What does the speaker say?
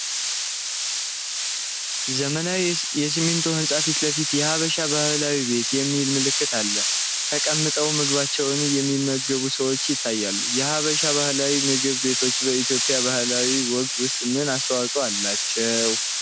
ዘመናዊ የሲሚንቶ ህንጻ ፊት ለፊት የ“ሀበሻ ባህላዊ ቤት” የሚል ምልክት አለ፤ ተቀምጠው ምግባቸውን የሚመገቡ ሰዎችም ይታያሉ። የሀበሻ ባህላዊ ምግብ ቤቶች በኢትዮጵያ ባህላዊ ወጎች ውስጥ ምን አስተዋፅኦ አላቸው?